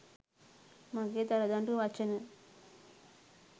මගේ දරදඬු වචන